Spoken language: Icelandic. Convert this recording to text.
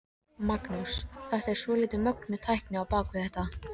Magnús: Þetta er svolítið mögnuð tækni á bak við þetta?